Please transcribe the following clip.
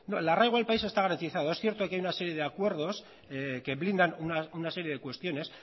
el arraigo al país está garantizado es cierto que hay una serie de acuerdos que blindan una serie de cuestiones